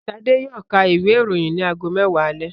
Ṣadé yóò ka ìwé-ìròyìn ní ago mẹ́wàá alẹ́.